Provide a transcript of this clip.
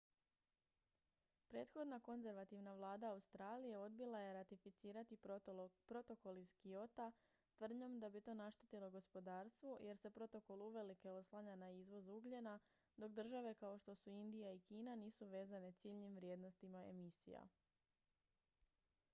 prethodna konzervativna vlada australije odbila je ratificirati protokol iz kyota tvrdnjom da bi to naštetilo gospodarstvu jer se protokol uvelike oslanja na izvoz ugljena dok države kao što su indija i kina nisu vezane ciljnim vrijednostima emisija